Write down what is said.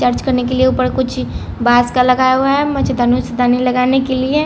charge करने के लिए ऊपर कुछ बाज का लगाया हुआ है मछतानुस दानी लगाने के लिए--